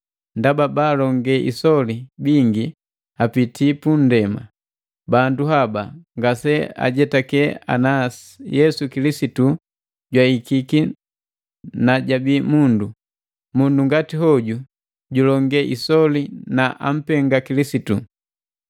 Ndaba baalonge isoli bingi apitii punndema. Bandu haba ngaseajetake ana Yesu Kilisitu jwahikiki na jabi mundu. Mundu ngati hoju julonge isoli na ampenga Kilisitu.